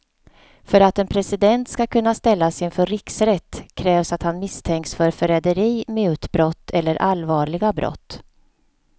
För att en president ska kunna ställas inför riksrätt krävs att han misstänks för förräderi, mutbrott eller allvarliga brott.